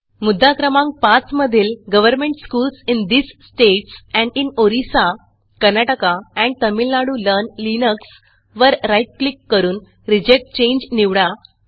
मुद्दा क्रमांक 5 मधील government schools in these states and in Orissa Karnataka and Tamil Nadu learn Linuxवर राईट क्लिक करून रिजेक्ट चांगे निवडा